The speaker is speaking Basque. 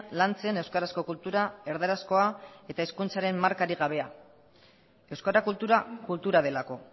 lantzen euskarazko kultura erdarazkoa eta hizkuntzaren markarik gabea euskara kultura kultura delako